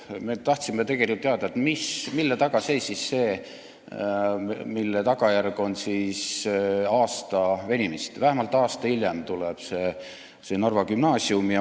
Me tahtsime tegelikult teada, mille taga see seisis, mille tagajärg oli aasta venimist, et see Narva gümnaasium tuleb vähemalt aasta hiljem.